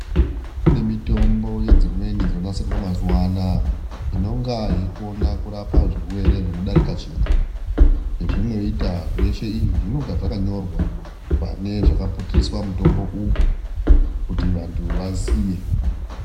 Kune mitombo yedzimweni dzonasirwa mazuva anaa, inonga yeikona kurapa zvirwere zvinodarika chimwe, zvezvinoita zveshe izvi zvinonga zvakanyorwa pane zvinoputiriswa mutombo uyu kuti vantu vasiye.